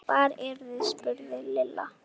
Hvar eruð þið? spurði Lilla.